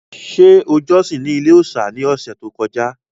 Ṣé o jọ́sìn ní ilé-òòsà ní ọ̀sẹ̀ tó kọjá?